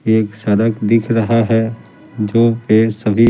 एक सड़क दिख रहा है जो पे सभी--